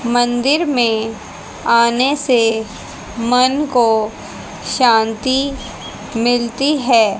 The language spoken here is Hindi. मंदिर में आने से मन को शांति मिलती हैं।